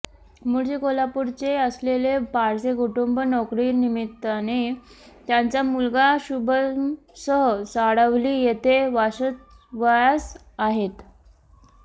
मुळचे कोल्हापूरचे असलेले पारसे कुटुंब नोकरीनिमित्ताने त्यांचा मुलगा शुभमसह साडवली येथे वास्तव्यास आहेत